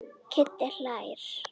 Kiddi hlær.